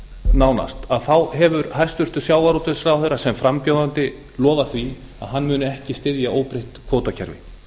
nánast hefur hæstvirtur sjávarútvegsráðherra sem frambjóðandi lofað því að hann muni ekki styðja óbreytt kvótakerfi